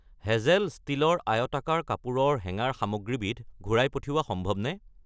Hazel ষ্টীলৰ আয়তাকাৰ কাপোৰৰ হেঙাৰ সামগ্ৰীবিধ ঘূৰাই পঠিওৱা সম্ভৱনে?